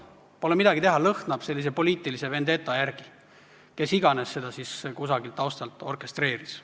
Pole midagi, see lõhnab sellise poliitilise vendeta järele, kes iganes siis seda kusagilt taustalt orkestreeris.